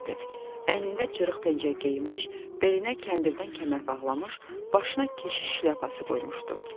Əynində cırıq pencək geyinmiş, belinə kəndirdən kəmər bağlamış, başına keşiş şlyapası qoymuşdu.